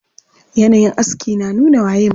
Yanayin aski na nuna waye mutum.